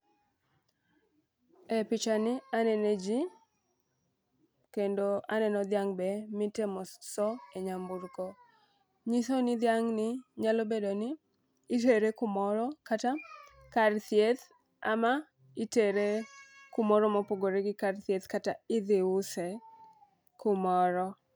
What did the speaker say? E picha ni aneno jii kendo aneno dhiang' be mitemo soo e nyamburko. Nyiso ni dhiang' ni nyalo bedo ni itere kumoro kata kar thieth ama itere kumoro mopogore gi kar thieth kata idhi use kumoro.